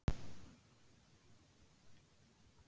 Þorbjörn Þórðarson: Hvað æfirðu oft í viku?